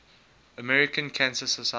american cancer society